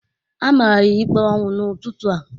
A mara ya ikpe ọnwụ n'ụtụtụ a